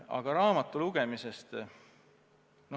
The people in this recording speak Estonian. Aga sellest raamatust.